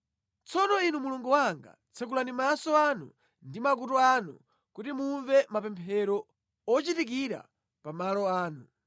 “Tsono Inu Mulungu wanga, tsekulani maso anu ndi makutu anu kuti mumve mapemphero ochitikira pa malo ano.